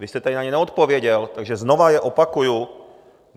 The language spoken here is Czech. Vy jste tady na ně neodpověděl, takže znova je opakuji.